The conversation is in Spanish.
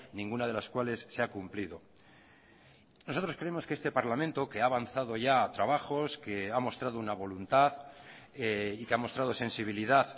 ninguna de las cuales se ha cumplido nosotros creemos que este parlamento que ha avanzado ya trabajos que ha mostrado una voluntad y que ha mostrado sensibilidad